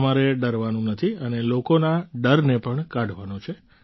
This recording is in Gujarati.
તમારે ડરવાનું નથી અને લોકોના ડરને પણ કાઢવાનો છે